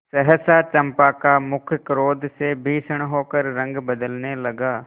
सहसा चंपा का मुख क्रोध से भीषण होकर रंग बदलने लगा